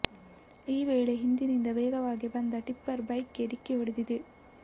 ಈ ವೇಳೆ ಹಿಂದಿನಿಂದ ವೇಗವಾಗಿ ಬಂದ ಟಿಪ್ಪರ್ ಬೈಕ್ಗೆ ಡಿಕ್ಕಿ ಹೊಡೆದಿದೆ